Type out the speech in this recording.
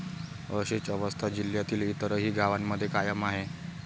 अशीच अवस्था जिल्ह्यातील इतरही गावांमध्ये कायम आहे.